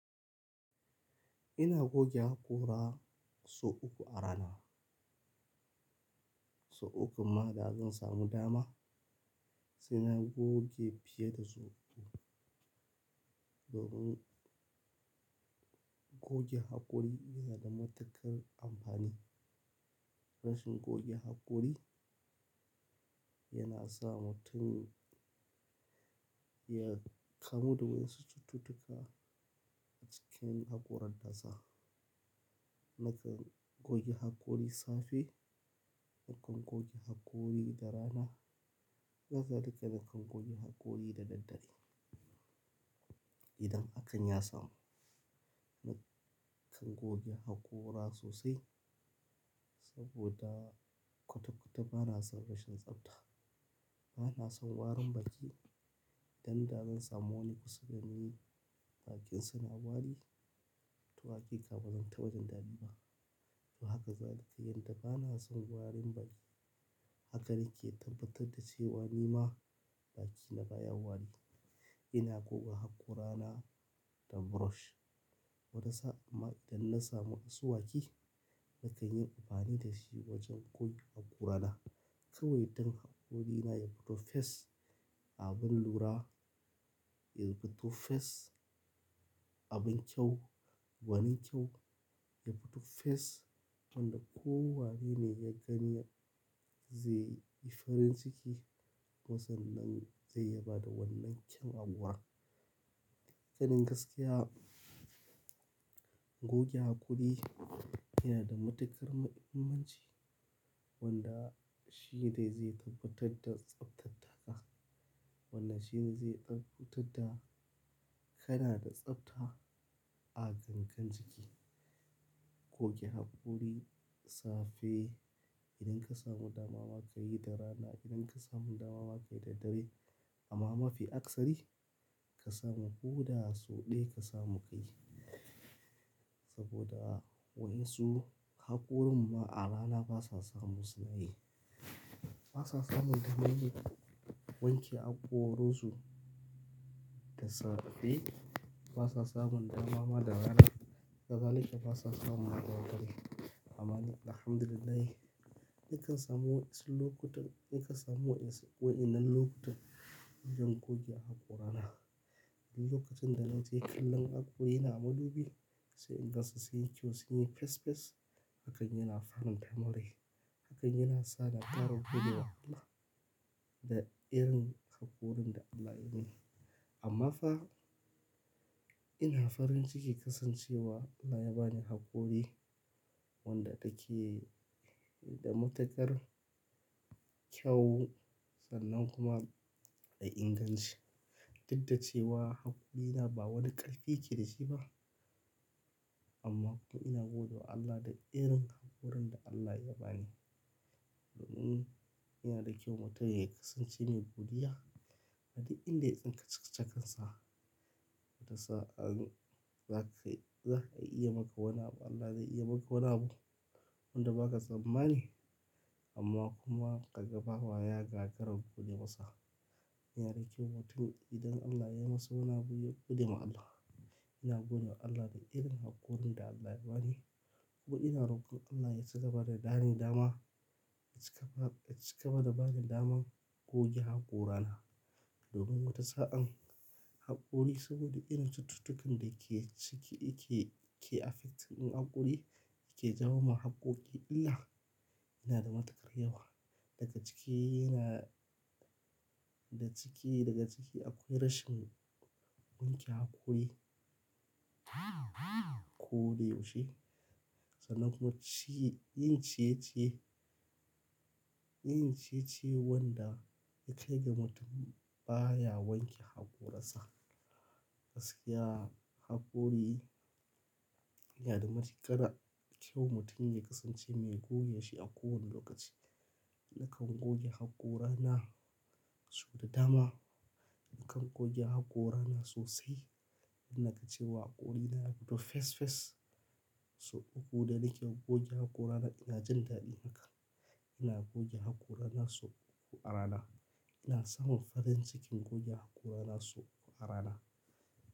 Ina goge hakora sau uku a rana. Sau uku ma da zan samu dama, sai na goge fiye da sau uku. Domin goge hakori yana da matuƙar amfani. Rashin goge hakori yana sa mutum ya kamu da wasu cututtuka a cikin hakoran faza. Nakan goge hakori safe, nakan goge hakori da rana, haka zalika nakan goge hakori da dare. Idan hakan yasamu, nakan goge hakora sosai saboda kutakuta bana son rashin tsafta. Bana son warin baki dan da zan samo ni kusa da ne bakinsa na wari, tu haki kaba zan taɓa jan daɗi ba. Haka zalika yadda bana son warin baki. Haka nake tabbatar da cewa ni ma bakina baya wari. Ina goge hakorana da brush wani sa'a amma idan na samu asuwaki nakan yi amfani da shi wajen goge hakorana. Kawai dan hakorina ya fito fes, abin lura, ya fito fes abin kyau, wani kyau, ya fito fes wanda kowa ne ya gani zai yi farin ciki kuma san nan zai yaba da wannan kyan akuwa. Hakanin gaskiya goge hakori yana da matuƙar muhimmanci wanda shine zai tabbatar da tsaftat taka. Wannan shine zai tabbatar da kana da tsafta a gangan jiki. Goge hakori safe idan ka samu dama ma ka yi da rana, idan ka samu dama ma ka yi da dare amma mafi aksari ka samu ko da sau ɗaya ka samu ka yi. Saboda wa'yansu hakorin ma a rana basa samu suna yi. Basa samun damaryi wanke hakoransu da safe, basa samun dama ma da rana, haka zalika basa samun a dare. Amma ni alhamdulillah nakan samu wasu lokutan, nakan samu wa'yan waɗannan lokutan zan goge hakorana. Lokacin da na ke kallon hakoyi na madubi sai in gansu sunyi kyau sun in yi fes fes, hakan yana faranta mun rai. Hakan yana sa na ƙara godiya wa Allah da irin hakorin da Allah ya yi min. Amma fa ina farin ciki kasancewa Allah ya ba ni hakori wanda take da matuƙar kyau sannan kuma da inganci. Dadda cewa hakorina ba wani ƙarfi ya ke da shi ba amma kuma ina gode wa Allah da irin hakorin da Allah ya ba ni. Domin yana da kyau mutum ya kasance mai godiya. A duk in da ka tsinka cikakken sa, tasa an za ka iya maka wani abu Allah zai iya maka wani abu wanda ba ka tsammani amma kuma kaga bawa ya gagara gode masa. Yana da kyau mutum idan Allah ya masa wani abu, ya godewa Allah. Ina gode wa Allah da irin hakorin da Allah ya ba ni kuma ina rokon Allah yacigaba da bani dama, ya ci gaba da bani daman goge hakorana. Domin wata sa'an hakori saboda ina cututtukan da ke ciki ke, ke affecting hakori, ke jawo ma hakoki illa, yana da matuƙar yawa. Daga cike yana, da cike daga cike akwai rashin wanke hakoyi ko dai yaushe. Sannan kuma ci yin ciye-ciye. Yin ciye-ciye wanda ya kai ga mutum baya wanke hakoransa. Gaskiya hakori yana da matuƙar kyau mutum ya kasance mai goge shi a kowane lokaci. Nakan goge hakorana sau da dama. Nakan goge hakorana sosai. Ina ta cewa hakorina ya fito fes fes sau uku da nake goge hakorana ina jan daɗi haka. Ina goge hakorana sau uku a rana. Ina samun farin cikin goge hakorana sau uku a rana.